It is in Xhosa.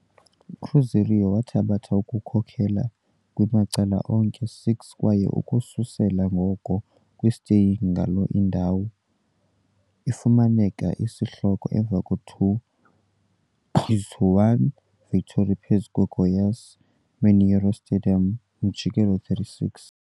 Cruzeiro wathabatha kukhokela kwi-macala onke 6 kwaye ukususela ngoko kwi, staying ngaloo indawo, ifumana i-isihloko emva 2-1 victory phezu Goiás kwi - Mineirão stadium, umjikelo 36.